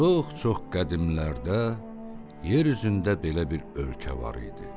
Çox-çox qədimlərdə yer üzündə belə bir ölkə var idi.